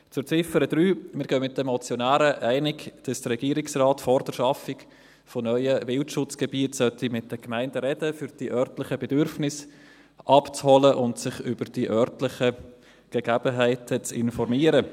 Zu Ziffer 3: Wir gehen mit den Motionären einig, dass der Regierungsrat vor der Schaffung neuer Wildschutzgebiete mit den Gemeinden sprechen sollte, um die örtlichen Bedürfnisse abzuholen und sich über die örtlichen Gegebenheiten zu informieren.